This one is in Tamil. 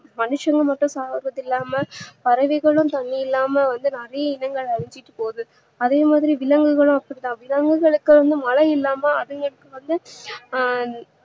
மனிஷவங்க மட்டும் சாவறது இல்லாம பறவைகளும் தண்ணீ இல்லாம வந்து நிறையா இனங்கள் அழிஞ்சிட்டு போது அதே மாதிரி விலங்குகளும் அப்படிதா விலங்குகளுக்கு மழை இல்லாம அதுங்களுக்கு வந்து ஆஹ்